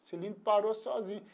O cilindro parou sozinho.